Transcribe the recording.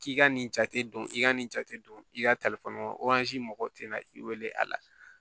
K'i ka nin jate don i ka nin jate don i ka mɔgɔw tɛ na i wele a la